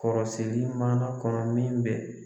Kɔrɔsigi mana kɔnɔ min bɛ